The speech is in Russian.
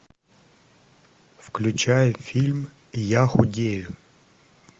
включай фильм я худею